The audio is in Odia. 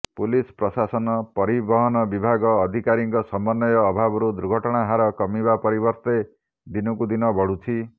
ପୁଲିସ ପ୍ରଶାସନ ପରିବହନ ବିଭାଗ ଅଧିକାରୀଙ୍କ ସମନ୍ବୟ ଅଭାବରୁ ଦୁର୍ଘଟଣା ହାର କମିବା ପରିବର୍ତ୍ତେ ଦିନକୁ ଦିନ ବଢ଼ୁଛି